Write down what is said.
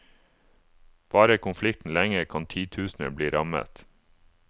Varer konflikten lenge, kan titusener bli rammet.